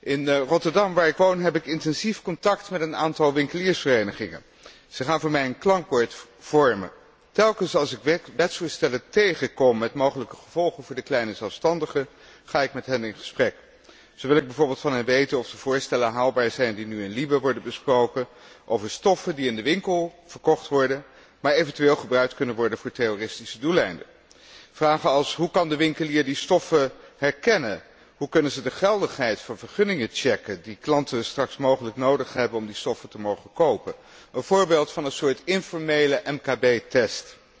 In Rotterdam, waar ik woon, heb ik intensief contact met een aantal winkeliersverenigingen. Zij vormen voor mij een klankbord. Telkens als ik wetsvoorstellen tegenkom met mogelijke gevolgen voor de kleine zelfstandige, ga ik met hen in gesprek. Zo wil ik bijvoorbeeld van hen weten of de voorstellen haalbaar zijn die nu in de Commissie LIBE worden besproken, namelijk over stoffen die in de winkel verkocht worden, maar eventueel ook gebruikt kunnen worden voor terroristische doeleinden. Vragen als hoe kan de winkelier die stoffen herkennen? Hoe kunnen ze controle uitoefenen op de geldigheid van vergunningen die klanten straks mogelijk nodig hebben om die stoffen te mogen kopen? Een voorbeeld van een soort informele MKB